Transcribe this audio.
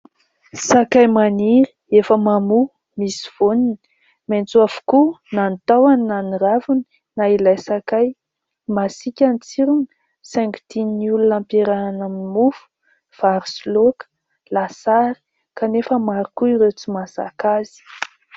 Sakay maniry efa mamoha misy voany. Maitso avokoa na ny tahony na ny raviny na ilay sakay. Masiaka ny tsirony saingy ampiarahana amin'ny mofo, vary sy laoka, lasary kanefa maro koa ireo tsy mahazaka azy.